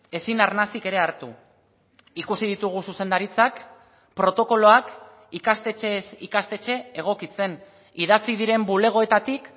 ezin arnasik ere hartu ikusi ditugu zuzendaritzak protokoloak ikastetxez ikastetxe egokitzen idatzi diren bulegoetatik